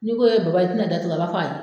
N'i ko Baba i tɛ na da tugu, a b'a fɔ ayi.